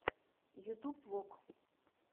ютуб вог